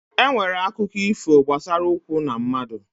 E nwere akụkọ ifo gbasara ụkwụ na mmadụ.